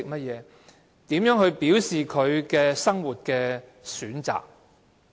如何表示生活上的選擇？